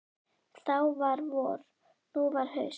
Þá var vor, nú var haust.